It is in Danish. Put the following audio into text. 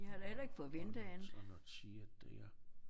Og og når og når tid er der